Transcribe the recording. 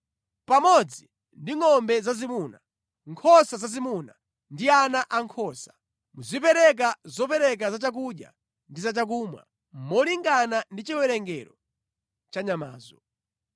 Pamodzi ndi ngʼombe zazimuna, nkhosa zazimuna ndi ana ankhosa, muzipereka zopereka za chakudya ndi za chakumwa molingana ndi chiwerengero cha nyamazo.